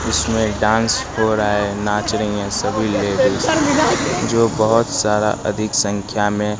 इसमें एक डांस हो रहा है नाच रहीं हैं सभी लेडिस जो बहुत सारा अधिक संख्या में--